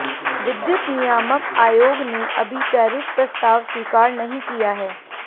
विद्युत नियामक आयोग ने अभी टैरिफ प्रस्ताव स्वीकार नहीं किया है